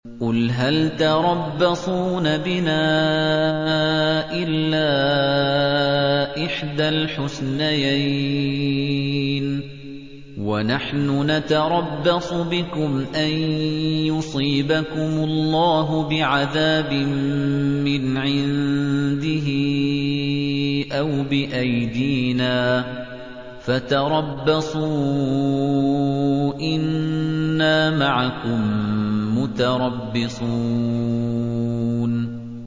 قُلْ هَلْ تَرَبَّصُونَ بِنَا إِلَّا إِحْدَى الْحُسْنَيَيْنِ ۖ وَنَحْنُ نَتَرَبَّصُ بِكُمْ أَن يُصِيبَكُمُ اللَّهُ بِعَذَابٍ مِّنْ عِندِهِ أَوْ بِأَيْدِينَا ۖ فَتَرَبَّصُوا إِنَّا مَعَكُم مُّتَرَبِّصُونَ